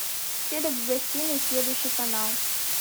телик в гостиной следующий канал